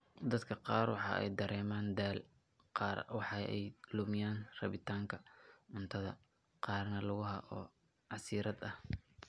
Dadka qaar waxa ay dareemaan daal, qaar waxa ay lumiyaan rabitaanka cuntada, qaarna lugaha oo casiraad ah.